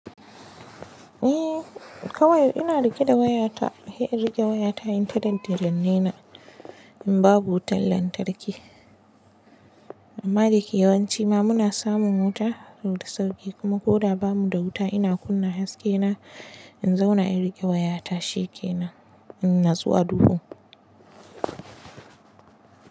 Eh, kawai ina riƙe da wayata, hai in riƙe wayata in ta danne-danne na, in babu wutan lantarki. Amma dake yawanci ma muna samun wuta, to da sauƙi, kuma ko da ba mu da wuta ina kunna haskena in zauna in riƙe wayata shikenan, in natsu a duhu.